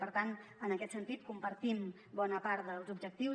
per tant en aquest sentit compartim bona part dels objectius